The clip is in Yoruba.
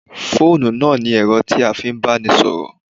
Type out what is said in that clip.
Fóònù náà ni ẹ̀rọ tí a fi ń bánisọ̀rọ̀